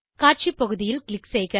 காட்சி பகுதியில் க்ளிக் செய்க